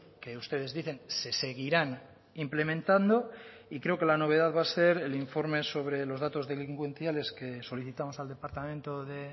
que ustedes dicen se seguirán implementando y creo que la novedad va a ser el informe sobre los datos delincuenciales que solicitamos al departamento de